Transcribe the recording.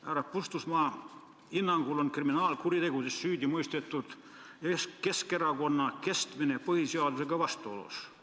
" Härra Puustusmaa hinnangul on kriminaalkuritegudes süüdimõistetud Keskerakonna kestmine põhiseadusega vastuolus.